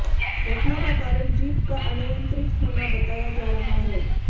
घटना का कारण जीप का अनियंत्रित होना बताया जा रहा है